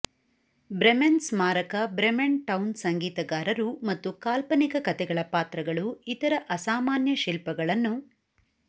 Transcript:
Bremen ಸ್ಮಾರಕ Bremen town ಸಂಗೀತಗಾರರು ಮತ್ತು ಕಾಲ್ಪನಿಕ ಕಥೆಗಳ ಪಾತ್ರಗಳು ಇತರ ಅಸಾಮಾನ್ಯ ಶಿಲ್ಪಗಳನ್ನು